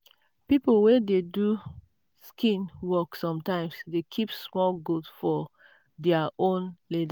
people wey dey do skin work sometimes dey keep small goat for their own